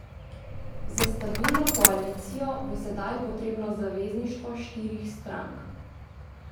Za stabilno koalicijo bo sedaj potrebno zavezništvo štirih strank.